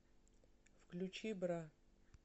включи бра